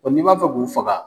Ɔ ni b'a fɛ k'u faga